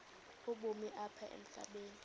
ubomi apha emhlabeni